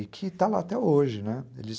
E que está lá até hoje, né, eles